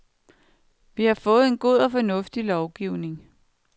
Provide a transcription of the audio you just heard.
Vi har fået en god og fornuftig lovgivning.